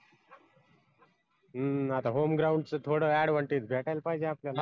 हम्म आता home ground च तो थोड advantage भेटायला पाहिजे आपल्याला